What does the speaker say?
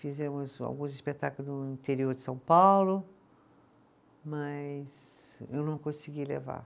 Fizemos alguns espetáculos no interior de São Paulo, mas eu não consegui levar.